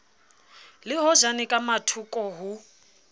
le hojane ka mathoko ho